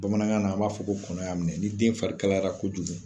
Bamanankan na a b'a fɔ ko kɔnɔya minɛ ni den farikalayara kojugu.